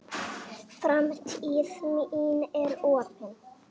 Framtíð mín er opin.